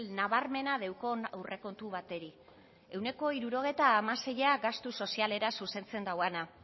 nabarmena daukan aurrekontu bateri ehuneko hirurogeita hamaseia gastu sozialera zuzentzen dauana